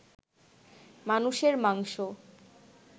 মানুষের মাংস